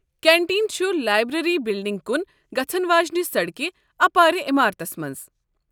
Canteen چھُ library بِلڈِنگہِ كُن گژھن واجینہِ سڈكہِ اپارِ عمارتس منٛز۔